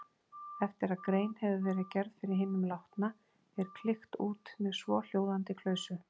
Eftir að grein hefur verið gerð fyrir hinum látna er klykkt út með svohljóðandi klausu